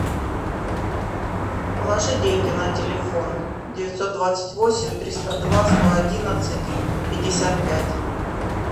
положи деньги на телефон девятьсот двадцать восемь триста два сто одиннадцать пятьдесят пять